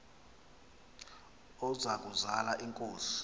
oza kuzal inkosi